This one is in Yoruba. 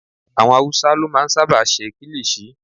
Àwọn awúsá ló máa n sáábà ṣe kílìṣí